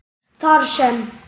þar sem